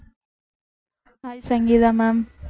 hi Sangeetha ma'am